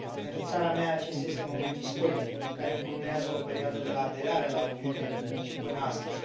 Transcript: Pentru țara mea, acesta este un moment istoric, care încununează o perioadă de la aderarea la Uniune și până astăzi.